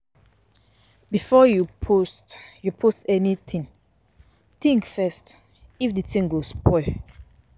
Before you post anything, think first if de thing go help abi spoil something.